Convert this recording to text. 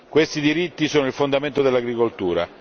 Questi diritti sono il fondamento dell'agricoltura